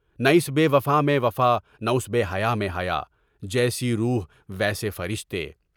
نہ اِس بے وفا میں وفا، نہ اُس بے حیّا میں حیّا، جیسی روح ویسے فرشتے۔